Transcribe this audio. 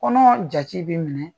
Kɔnɔbara jate bɛ minɛ